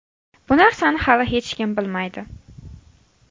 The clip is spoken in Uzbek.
Bu narsani hali hech kim bilmaydi.